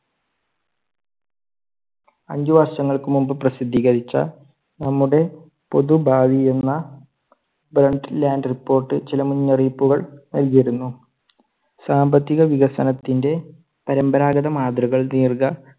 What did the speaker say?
അഞ്ച് വർഷങ്ങൾക്ക് മുൻപ് പ്രസിദ്ധികരിച്ച നമ്മുടെ പൊതു ഭാവി എന്ന report ചില മുന്നറിയിപ്പുകൾ നൽകിയിരുന്നു. സാമ്പത്തിക വികസനത്തിന്റെ പരമ്പരാഗത മാതൃകകൾ ദീർഘ